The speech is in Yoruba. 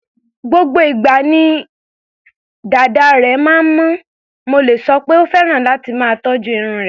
Gbogbo ìgbà ni dàda rẹ̀ máa ń mọ́, mo lè sọ pé ó fẹ́ràn láti máa tọ́jú irun rẹ̀.